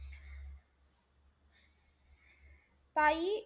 काई,